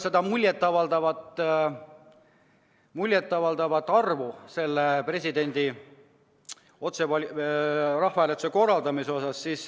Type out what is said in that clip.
Sa märkisid ka muljet avaldavat toetust presidendi valimise küsimuses rahvahääletuse korraldamisele.